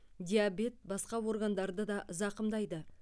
диабет басқа органдарды да зақымдайды